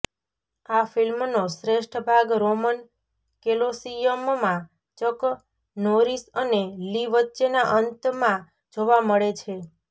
આ ફિલ્મનો શ્રેષ્ઠ ભાગ રોમન કેલોસીયમમાં ચક નોરીસ અને લી વચ્ચેના અંતમાં જોવા મળે છે